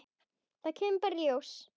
Það kemur bara í ljós.